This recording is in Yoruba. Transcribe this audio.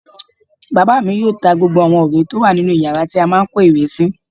Bàbá mi yóò ta gbogbo àwọn ìwé tó wà nínu yàrá tí a má n kó ìwé sí